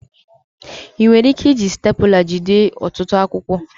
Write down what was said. Ị nwere ike iji stepụla jide ọtụtụ akwụkwọ